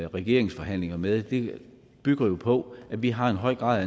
regeringsforhandlinger med bygger på at vi har en høj grad af